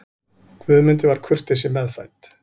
Guðmundi var kurteisi meðfædd.